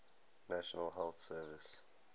national health service